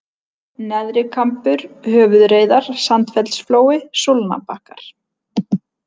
Neðrikambur, Höfuðreiðar, Sandfellsflói, Súlnabakkar